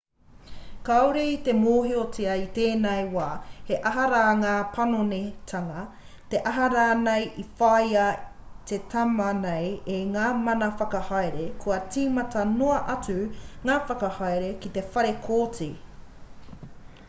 kāore i te mōhiotia i tēnei wā he aha rā ngā panonitanga he aha rānei i whāia te tama nei e ngā mana whakahaere kua tīmata noa atu ngā whakahaere ki te whare kōti